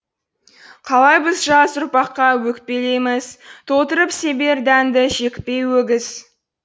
қалай біз жас ұрпаққа өкпелейміз толтырып себер дәнді жекпей өгіз